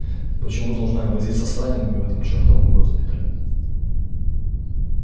почему должна я возиться с ранеными в этом чёртовом госпитале